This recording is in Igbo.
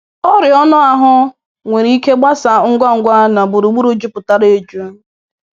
Ọrịa anụahụ nwere ike gbasaa ngwa ngwa n'gburugburu juputara eju.